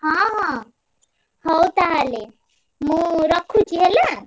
ହଁ ହଁ ହଉ ତାହେଲେ ମୁଁ ରଖୁଛି ହେଲା?